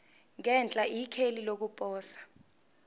ngenhla ikheli lokuposa